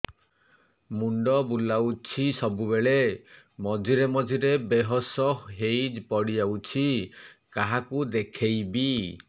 ମୁଣ୍ଡ ବୁଲାଉଛି ସବୁବେଳେ ମଝିରେ ମଝିରେ ବେହୋସ ହେଇ ପଡିଯାଉଛି କାହାକୁ ଦେଖେଇବି